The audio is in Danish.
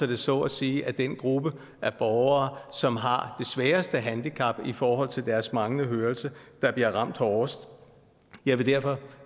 det så at sige er den gruppe af borgere som har sværeste handicap i forhold til deres manglende hørelse der bliver ramt hårdest jeg vil derfor